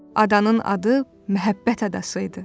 Adanın adı Məhəbbət adası idi.